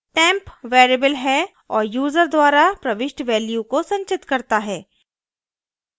temp variable है और user द्वारा प्रविष्ट value को संचित करता है